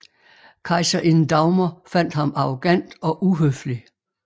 Kejserinde Dagmar fandt ham arrogant og uhøflig